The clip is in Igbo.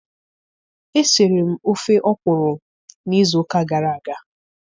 Esiri m ofe ọkwụrụ n'izu ụka gara aga.